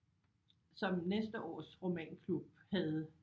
Som næste års romanklub havde